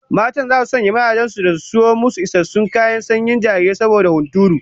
Matan zasu sanya mazajen su da su sayo musu isassun kayan sanyin jarirai saboda hunturu